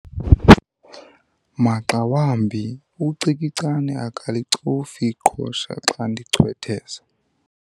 Maxa wambi ucikicane akalicofi iqhosha xa ndichwetheza.